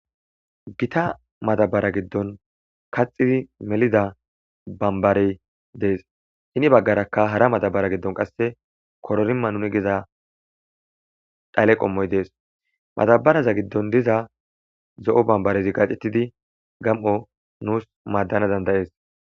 Gitta madabara gidoni kaxiddi melidda banbareyi betesi guye bagara qaasi hara madabareni koroma mano giza dhale qomoyi deèsi. Madabarata giddoni diza zo'o banibareti qassi mdanasi danidae'se.